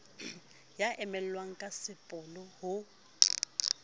ya emellwang ka sepolo ho